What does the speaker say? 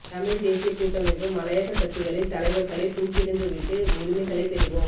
தமிழ் தேசிய கூட்டமைப்பு மலையக கட்சிகளின் தலைவர்களை தூக்கிறிந்து விட்டு உரிமைகளை பெறுவோம்